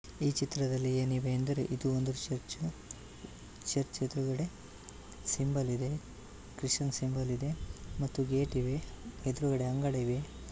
ಈ ಚಿತ್ರದಲ್ಲಿ ಏನಿದೆ ಅಂದರೆ ಇದು ಒಂದು ಚರ್ಚ್ ಚರ್ಚ್ ಎದುರುಗಡೆ ಸಿಂಬಲ್ ಇದೆ ಕ್ರಿಶ್ಚಿಯನ್ ಸಿಂಬಲ್ ಇದೆ ಮತ್ತು ಗೇಟ್ ಇದೆ ಎದುರುಗಡೆ ಅಂಗಡಿ ಇವೆ.